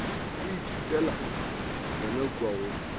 o ithutela yona kua go